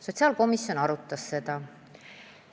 Sotsiaalkomisjon arutas seda.